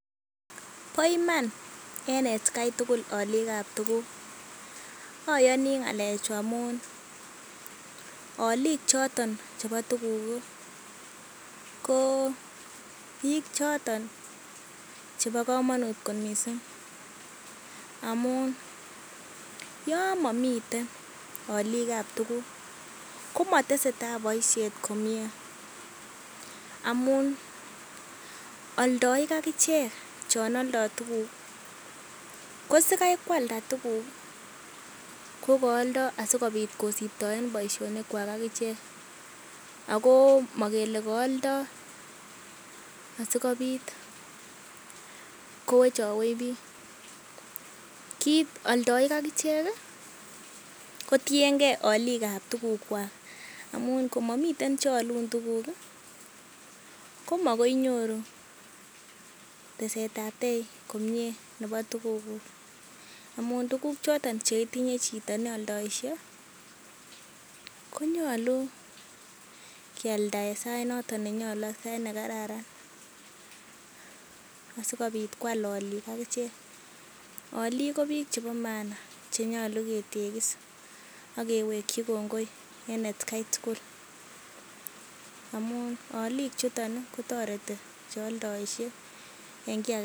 Bo iman en atkai tugul olikab tuguk, oyoni ng'alechu amun olik choton chebo tuguk ko biik choton chebo komonut kot mising amun yon momiten olik ab tuguk, komotesetai boisiet komye amun oldoik ak ichek chon oldo tuguk ko sikai koalda tuguk ko kaoldo asikobit kosibtoen boisionikwak ak ichek ago mogele kooldo asikobit kowechowech biik. Oldoik ak ichek kotienge olik ab tugukwak, amun ngo mami che alun tuguk komagoi inyoru teset komie nebo tugukuk. Amun tuguk choton che itinye chito ne oldoishe konyolu kyalda en sait noton ne nyolu, sait nekararan asikobit koal olik ak ichek. Olik ko biik chebo maana che nyolu ketegis ak keweki kongoi en atkai tugul amun olik chuton kotoreti che oldoishe en kiy agetugul.